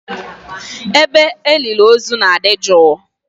Ebe a elili ozu na-adị jụụ.